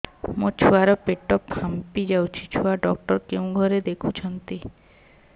ମୋ ଛୁଆ ର ପେଟ ଫାମ୍ପି ଯାଉଛି ଛୁଆ ଡକ୍ଟର କେଉଁ ଘରେ ଦେଖୁ ଛନ୍ତି